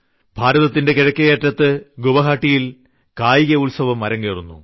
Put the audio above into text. ഭാരതത്തിന്റെ കിഴക്കേ അറ്റത്ത് ഗുവാഹട്ടിയിൽ കായിക ഉത്സവം അരങ്ങേറുന്നു